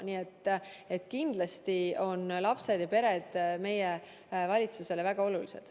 Nii et kindlasti on lapsed ja pered meie valitsusele väga olulised.